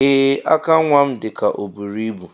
Ee aka nwam dika oburu ibu.